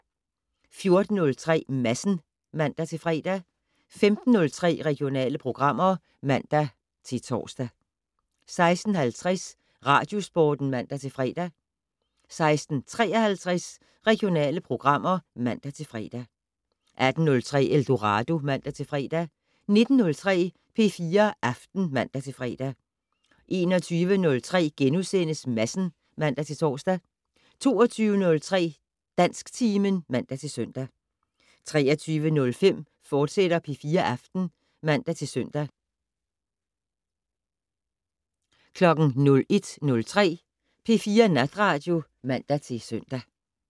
14:03: Madsen (man-fre) 15:03: Regionale programmer (man-tor) 16:50: Radiosporten (man-fre) 16:53: Regionale programmer (man-fre) 18:03: Eldorado (man-fre) 19:03: P4 Aften (man-fre) 21:03: Madsen *(man-tor) 22:03: Dansktimen (man-søn) 23:05: P4 Aften, fortsat (man-søn) 01:03: P4 Natradio (man-søn)